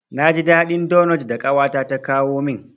Na ji daɗin donot da ƙawata ta kawo min.